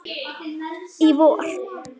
Í vor.